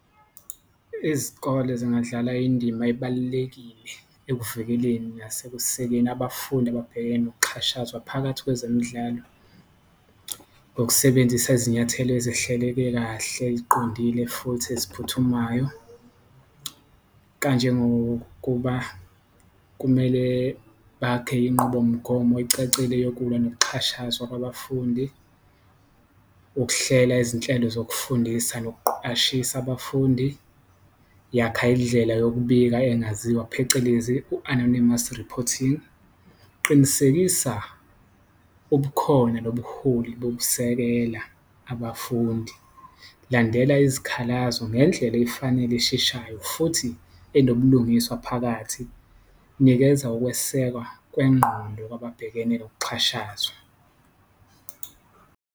Izikole zingadlala indima ebalulekile ekuvikeleni nasekusekeni abafundi ababhekene nokuxhashazwa phakathi kwezemidlalo, ngokusebenzisa izinyathelo ezihleleke kahle, eziqondile futhi eziphuthumayo. Kanjengokuba kumele bakhe inqubomgomo ecacile yokulwa nokuxhashazwa kwabafundi, ukuhlela izinhlelo zokufundisa nokuqwashisa abafundi, yakha indlela yokubika engaziwa phecelezi u-anonymous reporting, qinisekisa ubukhona nobuholi bokusekela abafundi Landela izikhalazo ngendlela efanele esheshayo futhi enobulungiswa phakathi, nikeza ukwesekwa kwengqondo kwababhekene nokuxhashazwa.